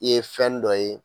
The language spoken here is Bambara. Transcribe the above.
Ye fɛn dɔ ye